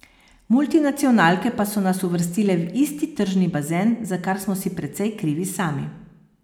Multinacionalke pa so nas uvrstile v isti tržni bazen, za kar smo si precej krivi sami.